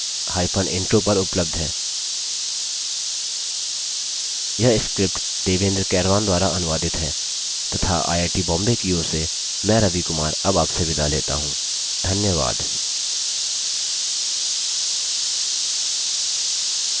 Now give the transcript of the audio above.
अधिक जानकारी spoken hyphen tutorial dot org slash nmeict hyphen intro पर उपलब्ध है